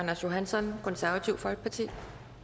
ting